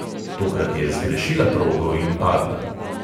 Tokrat je zgrešila progo in padla.